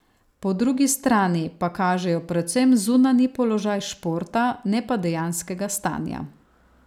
Po drugi strani pa kažejo predvsem zunanji položaj športa, ne pa dejanskega stanja.